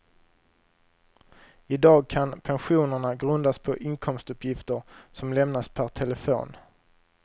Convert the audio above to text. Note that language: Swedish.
I dag kan pensionerna grundas på inkomstuppgifter som lämnas per telefon.